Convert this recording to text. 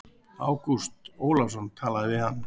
Ágúst Ólafsson talaði við hann.